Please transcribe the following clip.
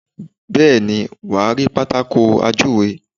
Bẹ́ẹ̀ni, wàá rí Pátákó ajúwe.